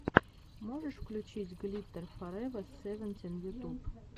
можешь включить глиттер форева севентин ютуб